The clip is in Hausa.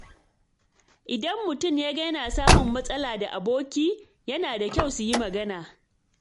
Idan mutum ya ga yana samun matsala da aboki, yana da kyau su yi magana.